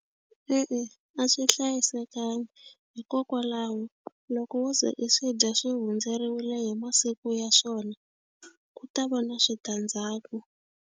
E-e, a swi hlayisekanga hikokwalaho loko wo ze i swi dya swi hundzeriwile hi masiku ya swona ku ta va na switandzhaku.